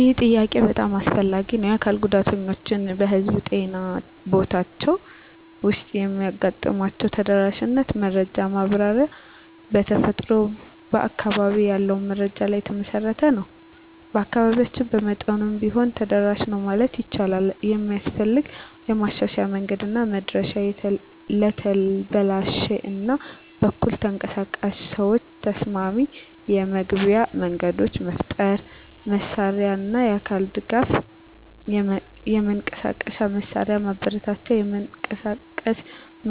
ይህ ጥያቄ በጣም አስፈላጊ ነው። የአካል ጉዳተኞች በህዝብ ጤና ቦታዎች ውስጥ የሚያጋጥሟቸውን ተደራሽነት መረጃ ማብራሪያ በተፈጥሮ በአካባቢ ያለውን መረጃ ላይ የተመሠረተ ነው። በአካባቢያችን በመጠኑም ቢሆን ተደራሽ ነው ማለት ይቻላል። የሚስፈልግ ማሻሻያ መንገድና መድረሻ ለተበላሽ እና በኩል ተንቀሳቃሽ ሰዎች ተስማሚ የመግቢያ መንገዶች መፍጠር። መሳሪያና አካል ድጋፍ የመንቀሳቀሻ መሳሪያ ማበረታታት (የመንቀሳቀስ